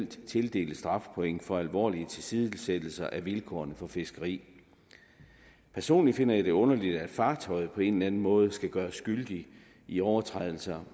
tildelte strafpoint for alvorlige tilsidesættelser af vilkårene for fiskeri personligt finder jeg det underligt at fartøjet på en eller anden måde skal gøres skyldigt i overtrædelser